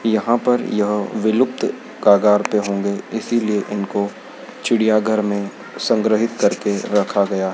यहां पर यह विलुप्त कगार पे होंगे इसीलिए इनको चिड़ियाघर में संग्रहित करके रखा गया--